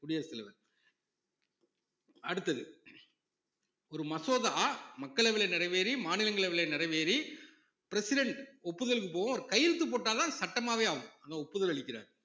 குடியரசு தலைவர் அடுத்தது ஒரு மசோதா மக்களவையிலே நிறைவேறி மாநிலங்களவையிலே நிறைவேறி president ஒப்புதலுக்கு போவும் அவர் கையெழுத்து போட்டாதான் சட்டமாவே ஆகும் அந்த ஒப்புதல் அளிக்கிறார்